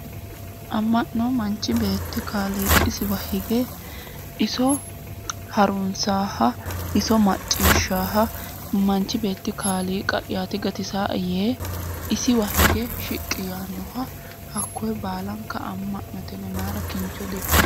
Amma'no manchi beetti kaliiqisiwa hige iso harunsaaha iso macciishshaaha manchi beetti kaliiqa'yaati gatisaa"e yee hakkoye baala amma'note yinayi mayeera kincho dikkayo